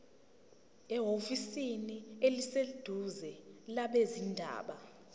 ehhovisi eliseduzane labezindaba